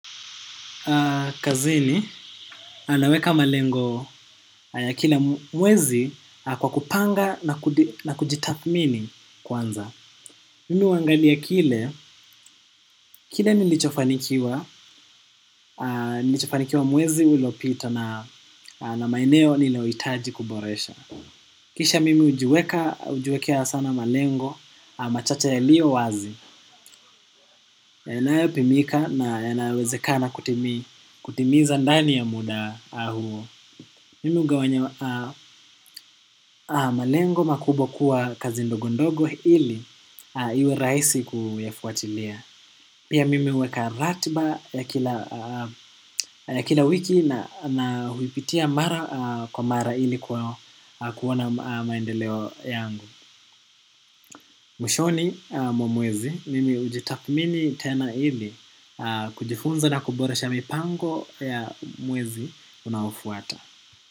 Kazini anaweka malengo ya kila mwezi kwa kupanga na kujitathmini kwanza mimi huangalia kile kile nilichofanikiwa mwezi uliopita na maeneo niliohitaji kuboresha kisha mimi hujiwekea sana malengo, machache yaliyo wazi na yanayopimika na yanawezeka na kutimiza ndani ya muda huo mimi hugawanya malengo makubwa kuwa kazi ndogo ndogo ili iwe rahisi kufuatilia. Pia mimi huweka ratiba ya kila wiki na huipitia mara kwa mara ili kuona maendeleo yangu. Mwishoni mwa mwezi, mimi hujitathmini tena ili kujifunza na kuboresha mipango ya mwezi unaofuata.